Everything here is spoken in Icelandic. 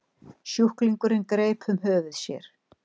Sjúklingurinn greip um höfuð sér.